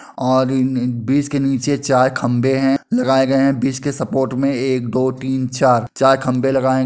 और इन न बीस के नीचे चार खम्भे हैं लगाए गए हैं बीस के सपोर्ट में| एक दो तीन चार चार खम्भे लगाये हैं ।